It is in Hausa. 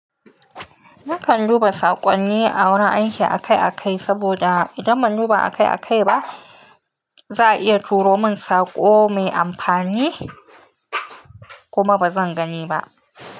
Nakan duba saƙonni a wurin aiki akai-akai, saboda idan ban duba akai-akai ba, za a iya turo min saƙo mai amfani kuma ba zan gani ba.